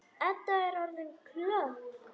Edda er orðin klökk.